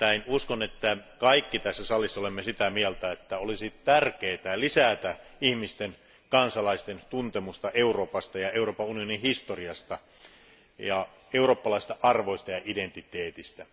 Uskon, että kaikki tässä salissa olemme sitä mieltä, että olisi tärkeää lisätä ihmisten, kansalaisten tuntemusta Euroopasta ja Euroopan unionin historiasta ja eurooppalaisista arvoista ja identiteetistä.